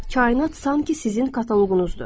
Kainat sanki sizin kataloqunuzdur.